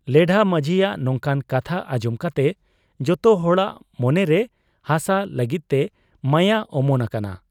ᱞᱮᱰᱷᱟ ᱢᱟᱹᱡᱷᱤᱭᱟᱜ ᱱᱚᱝᱠᱟᱱ ᱠᱟᱛᱷᱟ ᱟᱸᱡᱚᱢ ᱠᱟᱛᱮ ᱡᱚᱛᱚ ᱦᱚᱲᱟᱜ ᱢᱚᱱᱮᱨᱮ ᱦᱟᱥᱟ ᱞᱟᱹᱜᱤᱫᱛᱮ ᱢᱟᱭᱟ ᱚᱢᱚᱱ ᱟᱠᱟᱱᱟ ᱾